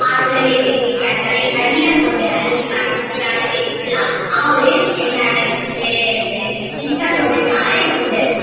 ആളുകളില്ലേക്ക് എത്തിക്കാൻ തൻ്റെ ശരീരം കൊണ്ട് അല്ലെങ്കിൽ എന്താണ് ചെയ്തിട്ടുള്ള ആ ഒരു എന്താണ് ചിത്രം കൊണ്ട് ചായം കൊണ്ട്